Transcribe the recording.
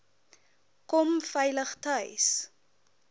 kom veilig tuis